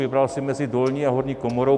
Vybral si mezi dolní a horní komoru.